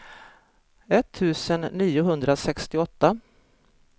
etttusen niohundrasextioåtta